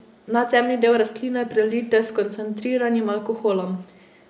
Nadzemni del rastline prelijte s koncentriranim alkoholom.